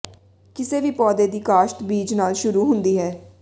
ਕਿਸੇ ਵੀ ਪੌਦੇ ਦੀ ਕਾਸ਼ਤ ਬੀਜ ਨਾਲ ਸ਼ੁਰੂ ਹੁੰਦੀ ਹੈ